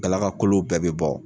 Galagakolo bɛɛ bɛ bɔ